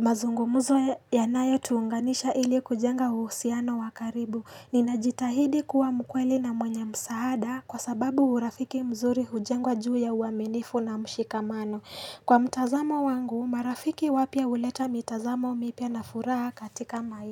mazungumzo yanayo tuunganisha ili kujenga uhusiano wakaribu. Ninajitahidi kuwa mkweli na mwenye msaada kwa sababu urafiki mzuri hujengwa juu ya uaminifu na mshikamano. Kwa mtazamo wangu, marafiki wapya huleta mitazamo mipya na furaha katika maisha.